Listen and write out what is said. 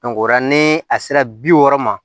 o la ni a sera bi wɔɔrɔ ma